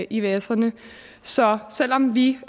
ivserne så selv om vi